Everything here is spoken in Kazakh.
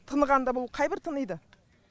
тыныған да бұл қайбір тыниды